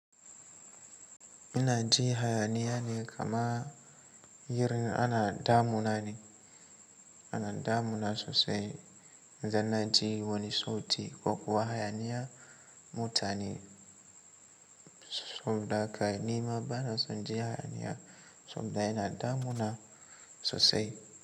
Ina ji hayaniya ne kaman irin ana damuna ne, ana damuna sosai. Idan na ji wani sauti ko kuwa hayaniya mutane, saboda haka nima bana son jin hayaniya saboda yana damuna sosai.